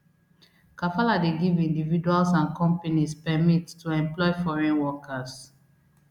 kafala dey give individuals and companies permit to employ foreign workers